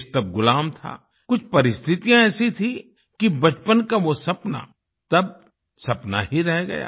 देश तब गुलाम था कुछ परिस्थितियां ऐसी थीं कि बचपन का वो सपना तब सपना ही रह गया